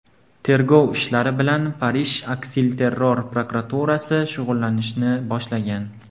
Tergov ishlari bilan Parij aksilterror prokuraturasi shug‘ullanishni boshlagan.